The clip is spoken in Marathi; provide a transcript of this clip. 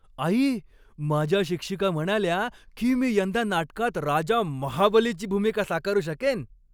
आई, माझ्या शिक्षिका म्हणाल्या की मी यंदा नाटकात राजा महाबलीची भूमिका साकारू शकेन.